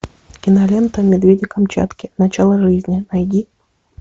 кинолента медведи камчатки начало жизни найди